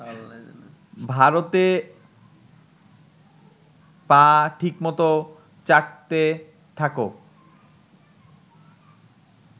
ভারতে পা ঠিকমত চাটতে থাকো।